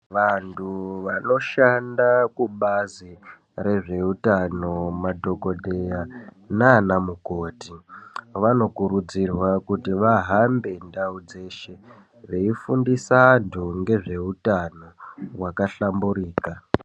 Vantu vanoshanda kubazi rezveutano madhokodheya nana mukoti vanokurudzirwa kuti vahambe ndau dzeshe veifundisa antu ngezveutano hwakahlamburika.